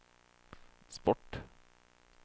sport